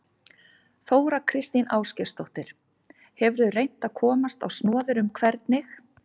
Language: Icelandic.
Þóra Kristín Ásgeirsdóttir: Hefurðu reynt að komast á snoðir um hvernig?